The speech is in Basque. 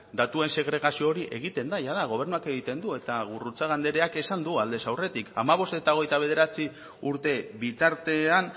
datuen segregazio hori egiten da gobernuak egiten du eta gurrutxaga andreak esan du aldez aurretik hamabost eta hogeita bederatzi urte bitartean